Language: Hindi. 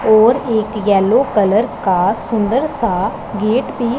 और एक येलो कलर सुंदर सा गेट भी--